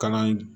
Kalan